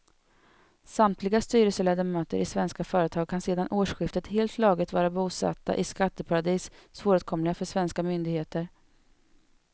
Samtliga styrelseledamöter i svenska företag kan sedan årsskiftet helt lagligt vara bosatta i skatteparadis, svåråtkomliga för svenska myndigheter.